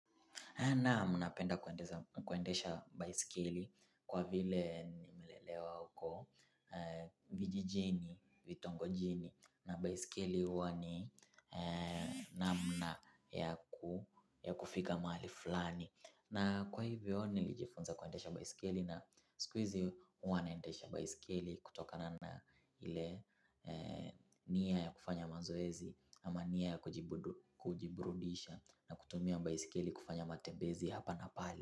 Naam napenda kuendesha baiskeli kwa vile nimelelewa huko vijijini, vitongojini na baiskeli huwa ni namna ya kufika mahali fulani. Na kwa hivyo nilijifunza kuendesha baiskeli na siku hizi huwa naendesha baiskeli kutoka na ile nia ya kufanya mazoezi ama nia ya kujiburudisha na kutumia baiskeli kufanya matembezi hapa na pale.